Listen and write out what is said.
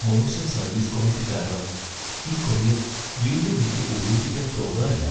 മോശം service quality കാരണം ഈ കൊറിയർ വീണ്ടും എനിക്ക് ഉപയോഗിക്കാൻ തോന്നാറില്ല.